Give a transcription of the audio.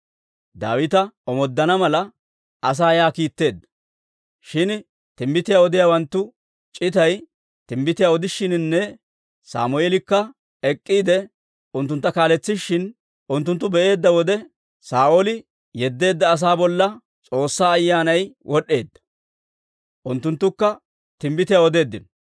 Daawita omooddana mala, asaa yaa kiitteedda. Shin timbbitiyaa odiyaawanttu c'itay timbbitiyaa odishiininne Sammeelikka ek'k'iide unttuntta kaaletsishin unttunttu be'eedda wode, Saa'ooli yeddeedda asaa bolla S'oossaa Ayyaanay wod'd'eedda; unttunttukka timbbitiyaa odeeddino.